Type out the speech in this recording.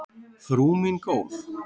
Frú mín góð.